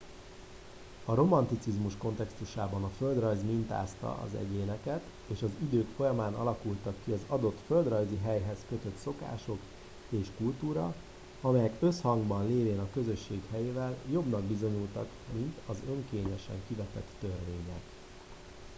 a romanticizmus kontextusában a földrajz mintázta az egyéneket és az idők folyamán alakultak ki az adott földrajzi helyhez kötött szokások és kultúra amelyek összhangban lévén a közösség helyével jobbnak bizonyultak mint az önkényesen kivetett törvények